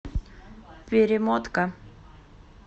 перемотка